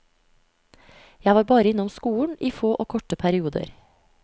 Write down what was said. Jeg var bare innom skolen i få og korte perioder.